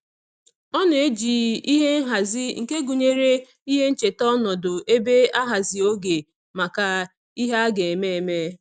Ọ na-eji ihe nhazi nke gụnyere ihe ncheta ọnọdụ ebe ahazi oge maka ihe a ga-eme eme.